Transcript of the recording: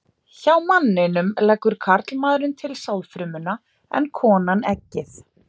Hjá manninum leggur karlmaðurinn til sáðfrumuna en konan eggið.